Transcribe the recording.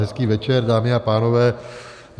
Hezký večer, dámy a pánové.